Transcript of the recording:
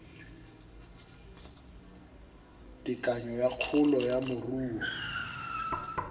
tekanyo ya kgolo ya moruo